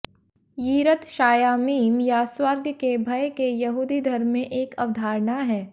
यिरत शायामीम या स्वर्ग के भय के यहूदी धर्म में एक अवधारणा है